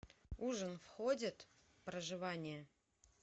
ужин входит в проживание